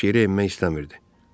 Quş yerə enmək istəmirdi.